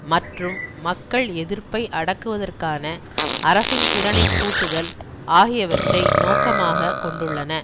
மற்றும் மக்கள் எதிர்ப்பை அடக்குவதற்குவதற்கான அரசின் திறனை கூட்டுதல் ஆகியவற்றை நோக்கமாக கொண்டுள்ளன